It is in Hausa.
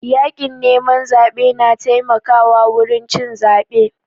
Yakin neman zaɓe na taimaka wa wurin cin zebe